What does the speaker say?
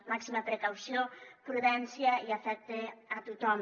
màxima precaució prudència i afecte a tothom